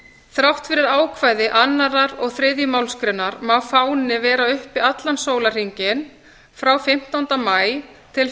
þrátt fyrir ákvæði annarrar og þriðju málsgrein má fáni vera uppi allan sólarhringinn frá fimmtánda maí til